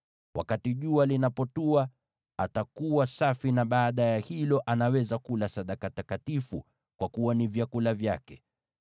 Wakati jua linapotua, atakuwa safi, na baadaye anaweza kula sadaka takatifu, kwa kuwa ni vyakula vyake.